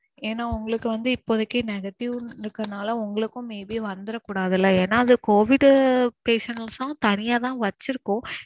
ஏனா உங்களுக்கு வந்து இப்போதைக்கு negative இருக்குற நால உங்களுக்கும் maybe வந்துர கூடாதுல. ஏனா அது covid patient எல்லாம் தனியா தான் வச்சிருக்கோம்